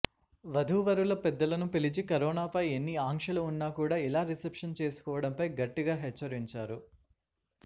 వధూవరుల పెద్దలను పిలిచి కరోనా పై ఎన్ని ఆంక్షలు ఉన్నా కూడా ఇలా రిసెప్షన్ చేసుకోవడంపై గట్టిగా హెచ్చరించారు